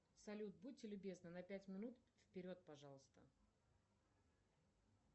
салют будьте любезны на пять минут вперед пожалуйста